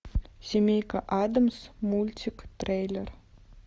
семейка адамс мультик трейлер